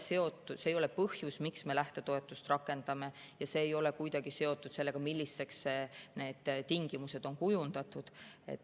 See ei ole põhjus, miks me lähtetoetust rakendame, ja see ei ole kuidagi seotud sellega, milliseks need tingimused on kujundatud.